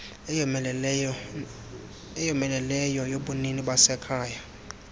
eyomeleleyo yobunini basekhaya